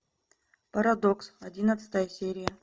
парадокс одиннадцатая серия